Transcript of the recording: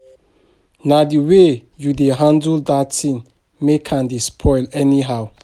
Na the way you dey handle dat thing make am dey spoil anyhow